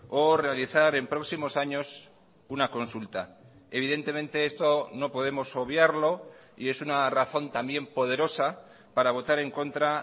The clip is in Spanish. o realizar en próximos años una consulta evidentemente esto no podemos obviarlo y es una razón también poderosa para votar en contra